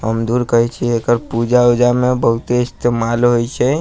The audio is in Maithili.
हम दूर करे छी एकर पूजा-उजा में बहुते इस्तेमाल होए छै।